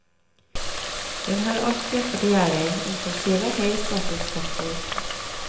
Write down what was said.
Den har alt hjertet begjærer, inklusive høy statusfaktor.